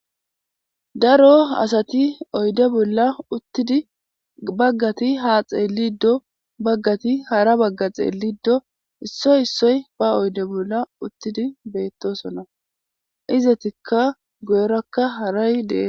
Daro asati oydde bolla uttidi baggati haa xeeliddo baggati hara bagga xeelliddo issoy issoy ba oydde bolla uttidi beettosona. Izatikka guyrakka haray dees.